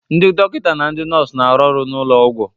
Ndị dọkịta na ndị nọọsụ na-arụ ọrụ n'ụlọ ọgwụ